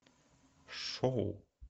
шоу